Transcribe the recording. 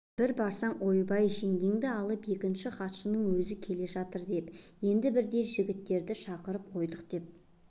бір барсаң ойбай жеңгейді алып екінші хатшының өзі келгелі жатыр деп енді бірде жігіттерді шақырып қойдық деп